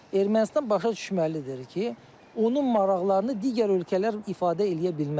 Ermənistan başa düşməlidir ki, onun maraqlarını digər ölkələr ifadə eləyə bilməz.